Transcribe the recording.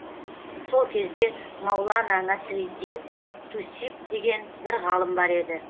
сол кезде маулана насириддин тусиб деген бір ғалым бар еді